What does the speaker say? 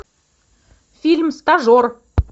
фильм стажер